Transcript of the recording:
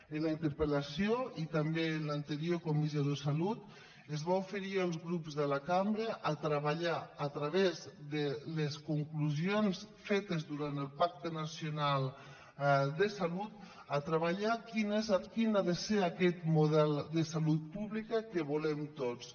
en la interpel·lació i també en l’anterior comissió de salut es va oferir als grups de la cambra treballar a través de les conclusions fetes durant el pacte nacional de salut quin ha de ser aquest model de salut pública que volem tots